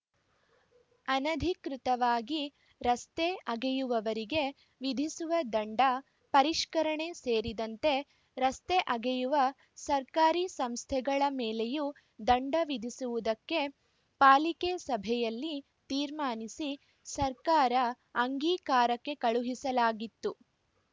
ಅನಧಿಕೃತವಾಗಿ ರಸ್ತೆ ಅಗೆಯುವವರಿಗೆ ವಿಧಿಸುವ ದಂಡ ಪರಿಷ್ಕರಣೆ ಸೇರಿದಂತೆ ರಸ್ತೆ ಅಗೆಯುವ ಸರ್ಕಾರಿ ಸಂಸ್ಥೆಗಳ ಮೇಲೆಯೂ ದಂಡ ವಿಧಿಸುವುದಕ್ಕೆ ಪಾಲಿಕೆ ಸಭೆಯಲ್ಲಿ ತೀರ್ಮಾನಿಸಿ ಸರ್ಕಾರ ಅಂಗೀಕಾರಕ್ಕೆ ಕಳುಹಿಸಲಾಗಿತ್ತು